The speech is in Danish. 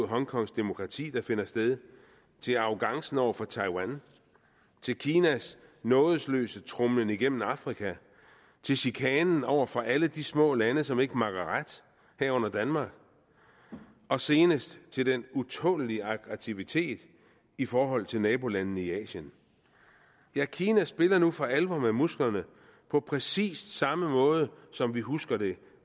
hongkongs demokrati der finder sted til arrogancen over for taiwan til kinas nådesløse tromlen igennem afrika til chikanen over for alle de små lande som ikke makker ret herunder danmark og senest til den utålelige aktivitet i forhold til nabolandene i asien ja kina spiller nu for alvor med musklerne på præcis samme måde som vi husker det